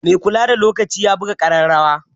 Mai kula da lokaci ya buga ƙararrawa